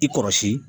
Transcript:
I kɔrɔsi